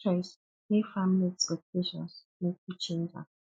choice mek family expectation mek yu change am